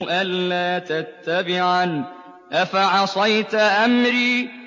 أَلَّا تَتَّبِعَنِ ۖ أَفَعَصَيْتَ أَمْرِي